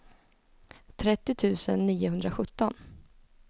trettio tusen niohundrasjutton